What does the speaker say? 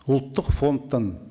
ұлттық фондтан